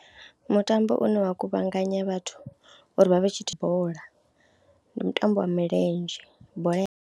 Mutambo une wa kuvhanganya vhathu uri vha vhe tshithu, ndi bola, ndi mutambo wa milenzhe, bola ya.